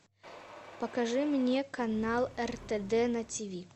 покажи мне канал ртд на тв